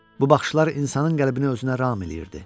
Bu baxışlar insanın qəlbini özünə ram eləyirdi.